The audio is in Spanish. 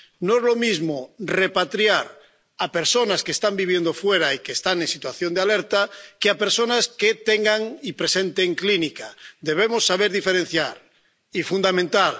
No es lo mismo repatriar a personas que están viviendo fuera y que están en situación de alerta que a personas que tengan y presenten síntomas debemos saber diferenciar y fundamentar